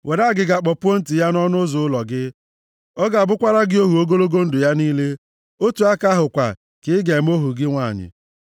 Were agịga kpọpuo ntị + 15:17 Ịkpọpu ntị bụ akara e ji amara onye bụ ohu na mgbe ochie. ya nʼọnụ ụzọ ụlọ gị. Ọ ga-abụkwara gị ohu ogologo ndụ ya niile. Otu aka ahụ kwa ka ị ga-eme ohu gị nwanyị.